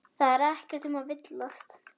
Það er ekkert um að villast.